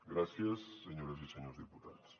gràcies senyores i senyors diputats